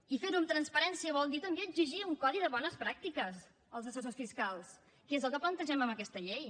i ferho amb transparència vol dir també exigir un codi de bones pràctiques als assessors fiscals que és el que plantegem amb aquesta llei